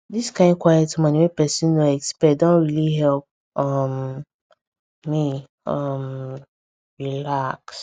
this kind quiet morning wey person no expect don really help um me um relax